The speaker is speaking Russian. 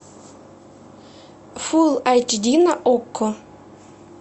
фул айч ди на окко